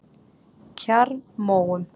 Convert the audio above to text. Kjarrmóum